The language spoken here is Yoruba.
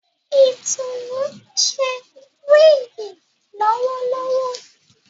Itunu ṣe wigi lowolowo